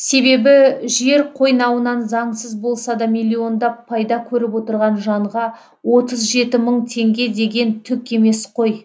себебі жер қойнауынан заңсыз болса да миллиондап пайда көріп отырған жанға отыз жеті мың теңге деген түк емес қой